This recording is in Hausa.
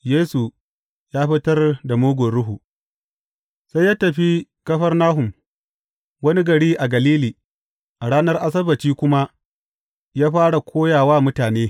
Yesu ya fitar da mugun ruhu Sai ya tafi Kafarnahum, wani gari a Galili, a ranar Asabbaci kuma, ya fara koya wa mutane.